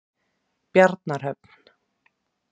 Bjarnarhöfn